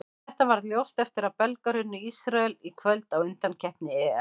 Þetta varð ljóst eftir að Belgar unnu Ísrael í kvöld í undankeppni EM.